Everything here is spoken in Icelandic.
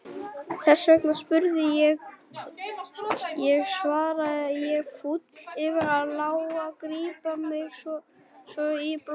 Þess vegna spurði ég, svara ég fúl yfir að láta grípa mig svona í bólinu.